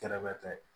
Kɛrɛfɛ